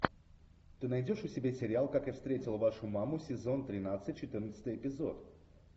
ты найдешь у себя сериал как я встретил вашу маму сезон тринадцать четырнадцатый эпизод